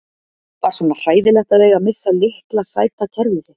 Var svona hræðilegt að eiga að missa litla sæta kerfið sitt?